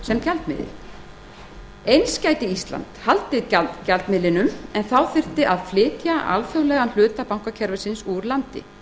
sem gjaldmiðil eins gæti ísland haldið gjaldmiðlinum en þá þyrfti að flytja alþjóðlegan hluta bankakerfisins úr landi